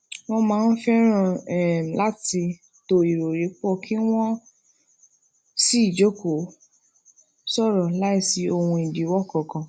wón máa ń feran um lati to irọri pọ ki won um si jókòó sòrò láìsí ohun ìdíwọ kan kan